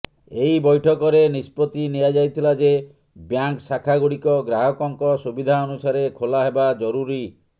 ଏହି ବୈଠକରେ ନିଷ୍ପତ୍ତି ନିଆଯାଇଥିଲା ଯେ ବ୍ୟାଙ୍କ ଶାଖା ଗୁଡିକ ଗ୍ରାହକଙ୍କ ସୁବିଧା ଅନୁସାରେ ଖୋଲା ହେବା ଜରୁରୀ